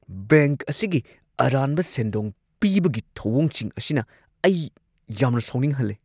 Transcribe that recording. Bank ꯑꯁꯤꯒꯤ ꯑꯔꯥꯟꯕ ꯁꯦꯟꯗꯣꯡ ꯄꯤꯕꯒꯤ ꯊꯧꯑꯣꯡꯁꯤꯡ ꯑꯁꯤꯅ ꯑꯩ ꯌꯥꯝꯅ ꯁꯥꯎꯅꯤꯡꯍꯜꯂꯦ꯫